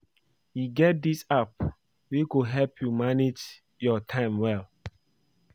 E get dis app wey go help you manage your time well